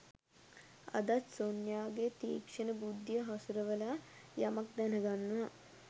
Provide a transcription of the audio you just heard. අදත් සොන්යාගේ තික්ෂණ බුද්ධිය හසුරවලා යමක් දැනගන්නවා